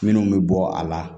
Minnu bɛ bɔ a la